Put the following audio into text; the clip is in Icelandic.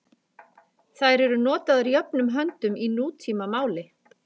Þær eru notaðar jöfnum höndum í nútímamáli.